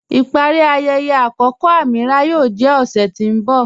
Ipari ayẹyẹ akọkọ Amīràh yóò jẹ ọṣẹ̀ tí n bọ̀.